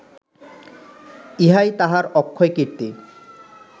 ইহাই তাঁহার অক্ষয় কীর্তি